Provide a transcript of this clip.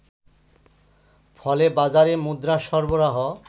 ফলে বাজারে মুদ্রা সরবরাহ